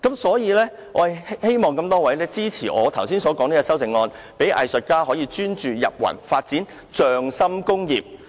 所以，我希望大家支持我的修正案，讓藝術家可以專注、"入魂"，發展"匠心工業"。